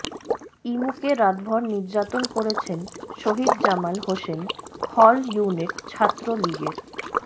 ইমুকে রাতভর নির্যাতন করেছেন শহীদ জামাল হোসেন হল ইউনিট ছাত্রলীগের